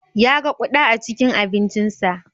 Ya ga ƙuda a cikin abincinsa.